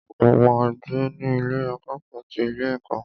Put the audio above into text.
Mo ma gbé ní Ilé akẹ́kọ̀ọ́ ti ilé ẹ̀kọ́.